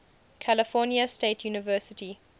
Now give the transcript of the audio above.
california state university